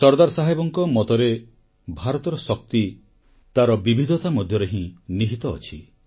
ସର୍ଦ୍ଦାର ସାହେବଙ୍କ ମତରେ ଭାରତର ଶକ୍ତି ତାର ବିବିଧତା ମଧ୍ୟରେ ହିଁ ନିହିତ ଅଛି